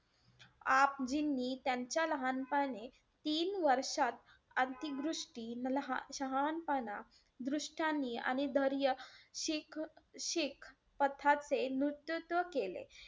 आपजींनी त्यांच्या लहानपणी तीन वर्षात, आंतरिक दृष्टी, मल~ शहाणपणा, दृष्टानी आणि धैर्य शिख~ शीख पथाचे नृत्यूत्व केले.